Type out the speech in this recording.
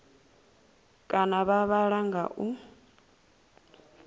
kana vha vhala nga u